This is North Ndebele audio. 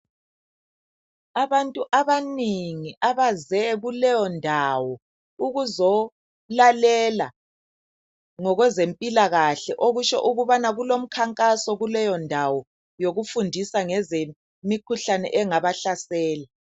Abantu abanengi ababuyileyo kuleyondawo, ukuzolalela ngokwezempilakahle okutsho ukuthi kulomkhankaso wokufundisa ngemikhuhlane engaba hlasela.